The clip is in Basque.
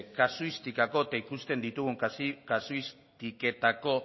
kasuistikako eta ikusten ditugun kasuistiketako